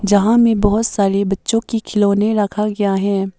यहां में बहुत सारे बच्चों के खिलौने रखा गया है।